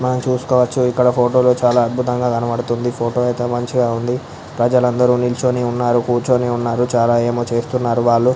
మనము చూసుకోవచ్చు ఇక్కడ ఫోటో లు చాల అద్భుతంగా కనపడుతుంది ఫోటో అయితే మంచిగా వుంది ప్రజలు అందరు నుంచొని ఉన్నారు కూర్చుని ఉన్నారు చాల అమో చేస్తున్నారు వాళ్ళు --